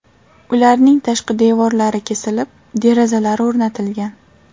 Ularning tashqi devorlari kesilib, derazalar o‘rnatilgan.